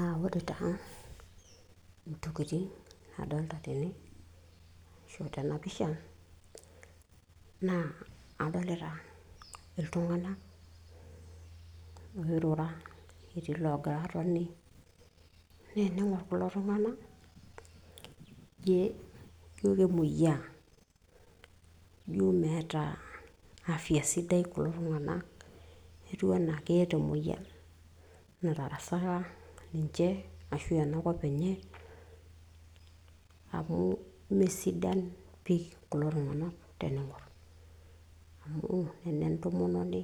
uh, ore taa intokitin nadolta tene ashu tena pisha naa adolita iltung'anak oirura etii loogira atoni naa ening'orr kulo tung'anak njiom kemoyiaa njo meeta afya sidai kulo tung'anak etiu enaa keeta emoyian natarasaka ninche ashu enakop enye amu mesidan pii kulo tung'anak tening'orr amu nena entomononi